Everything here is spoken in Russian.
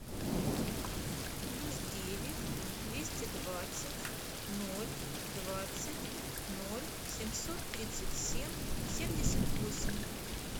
плюс девять двести двадцать ноль двадцать ноль семьсот тридцать семь семьдесят восемь